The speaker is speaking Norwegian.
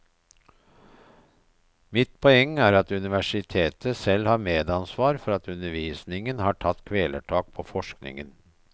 Mitt poeng er at universitetet selv har et medansvar for at undervisningen har tatt kvelertak på forskningen.